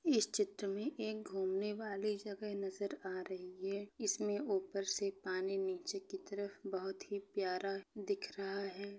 इस चित्र में एक घूमने वाली जगह नजर आ रही है इस मे ऊपर से पानी नीचे की तरफ बहुत ही प्यारा दिख रहा है।